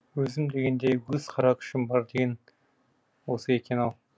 өзім дегенде өгіз қара күшім бар деген осы екен ау